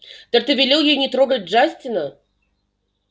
так ты велел ей не трогать джастина